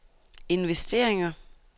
investeringer